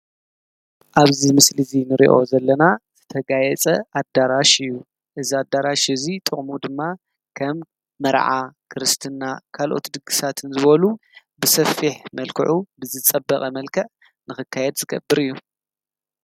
ኣብዚ ምስሊ እዚ ንሪኦ ዘለና ዝተጋየፀ ኣዳራሽ እዩ፡፡ እዚ ኣዳራሽ እዚ ጥቕሙ ድማ ከም መርዓ፣ ክርስትና ካልኦት ድግሳትን ዝበሉ ብሰፊሕ መልክዑ ብዝፀበቐ መልክዕ ንኽካየድ ዝገብር እዩ፡፡